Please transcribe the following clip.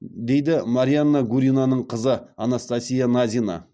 дейді марианна гуринаның қызы анастасия назина